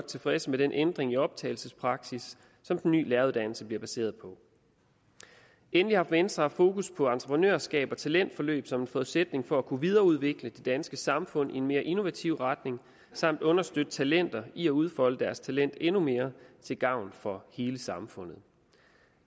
tilfredse med den ændring i optagelsespraksis som den nye læreruddannelse bliver baseret på endelig har venstre haft fokus på entreprenørskab og talentforløb som en forudsætning for at kunne videreudvikle det danske samfund i en mere innovativ retning samt understøtte talenter i at udfolde deres talent endnu mere til gavn for hele samfundet